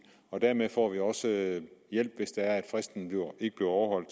og dermed får vi også hjælp hvis det er at fristen ikke bliver overholdt